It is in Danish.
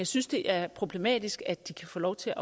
synes det er problematisk at de kan få lov til